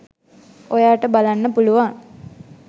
ඔයාට බලන්න පුලුවන්.